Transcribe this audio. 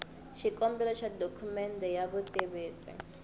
xikombelo xa dokumende ya vutitivisi